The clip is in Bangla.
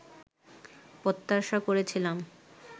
প্রত্যাশা করেছিলাম